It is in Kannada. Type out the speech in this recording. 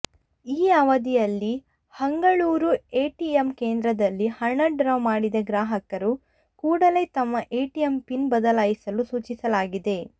ಈ ಅವಧಿಯಲ್ಲಿ ಹಂಗಳುರು ಎಟಿಎಂ ಕೇಂದ್ರದಲ್ಲಿ ಹಣ ಡ್ರಾ ಮಾಡಿದ ಗ್ರಾಹಕರು ಕೂಡಲೇ ತಮ್ಮ ಎಟಿಎಂ ಪಿನ್ ಬದಲಾಯಿಸಲು ಸೂಚಿಸಲಾಗಿದೆ